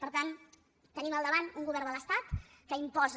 per tant tenim al davant un govern de l’estat que imposa